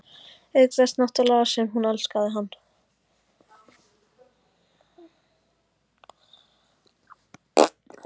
Auk þess náttúrlega sem hún elskaði hann.